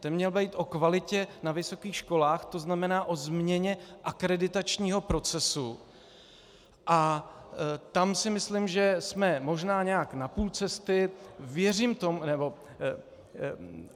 Ten měl být o kvalitě na vysokých školách, to znamená o změně akreditačního procesu, a tam si myslím, že jsme možná nějak na půl cesty.